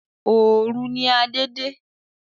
Òòru ni Adé de